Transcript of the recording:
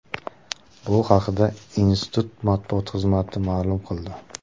Bu haqda institut matbuot xizmati ma’lum qildi .